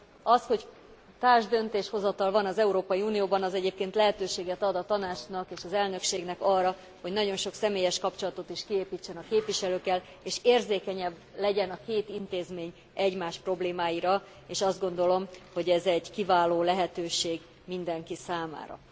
Az, hogy társdöntéshozatal van az Európai Unióban, az egyébként lehetőséget ad a Tanácsnak és az elnökségnek arra, hogy nagyon sok személyes kapcsolatot kiépítsen a képviselőkkel, és érzékenyebb legyen a két intézmény egymás problémáira, és azt gondolom, hogy ez egy kiváló lehetőség mindenki számára.